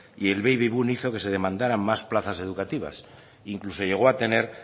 y el baby boom hizo que se demandará más plazas educativas e incluso llego a tener